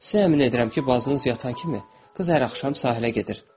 Sizə əmin edirəm ki, bacınız yatan kimi qız hər axşam sahilə gedir.